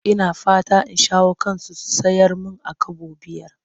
Ina fatan in shawo kansu su sayar mun a Kobo biyar.